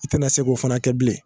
I tɛ na se k'o fana kɛ bilen.